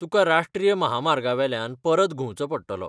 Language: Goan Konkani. तुका राश्ट्रीय म्हामार्गावेल्यान परत घुंवचो पडटलो.